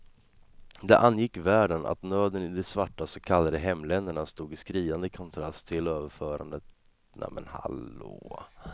Det angick världen att nöden i de svarta så kallade hemländerna stod i skriande kontrast till överflödet i de vita områdena.